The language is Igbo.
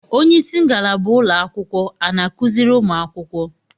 onyeisi ngalaba ụlọakwụkwọ ana akuzịrị ụmụ akwụkwọ?